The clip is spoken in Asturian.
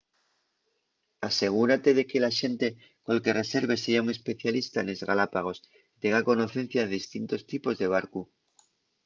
asegúrate de que l’axente col que reserves seya un especialista nes galápagos y tenga conocencia de distintos tipos de barcu